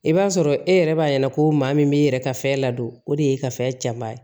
I b'a sɔrɔ e yɛrɛ b'a ɲɛna ko maa min b'i yɛrɛ ka fɛn ladon o de y'e ka fɛn jabaa ye